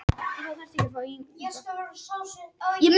Þetta er gott tilboð en þetta er síðasta tilboð okkar.